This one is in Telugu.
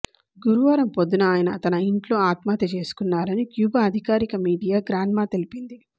గురువారం పొద్దున ఆయన తన ఇంట్లో ఆత్మహత్య చేసుకున్నారని క్యూబా అధికారిక మీడియా గ్రాన్మా తెలిపింది